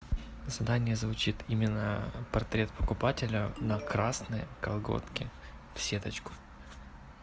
задание звучит именно портрет покупателя на красные колготки в сеточку